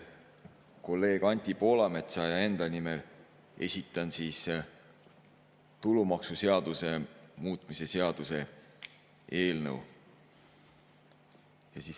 Kolleeg Anti Poolametsa ja enda nimel esitan tulumaksuseaduse muutmise seaduse eelnõu.